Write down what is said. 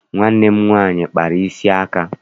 Nwanne m nwaanyị kpara isi aka.